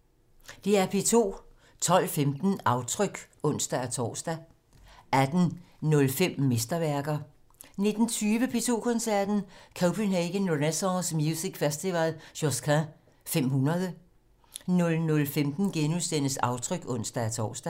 12:15: Aftryk (ons-tor) 18:05: Mesterværker 19:20: P2 Koncerten - Copenhagen Renaissance Music Festival: Josquin 500 00:15: Aftryk *(ons-tor)